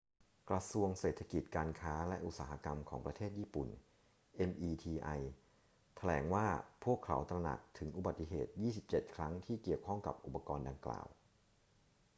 กระทรวงเศรษฐกิจ การค้า และอุตสาหกรรมของประเทศญี่ปุ่น meti แถลงว่าพวกเขาตระหนักถึงอุบัติเหตุ 27 ครั้งที่เกี่ยวข้องกับอุปกรณ์ดังกล่าว